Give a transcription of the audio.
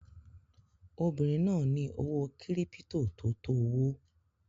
Obinrin naa ni owo kiripito to to owo